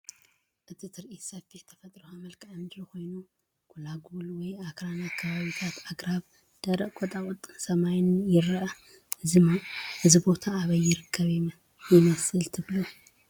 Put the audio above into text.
እቲ ትርኢት ሰፊሕ ተፈጥሮኣዊ መልክዓ ምድሪ ኮይኑ፡ ጎላጉል/ኣኽራናዊ ከባቢታት፡ ኣግራብ፡ ደረቕ ቁጥቋጥን ሰማይን ይርአ። እዚ ቦታ ኣበይ ይርከብ ይመስል ትብሉ?